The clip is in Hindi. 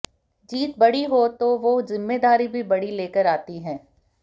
जीत बड़ी हो तो वो ज़िम्मेदारी भी बड़ी लेकर आती है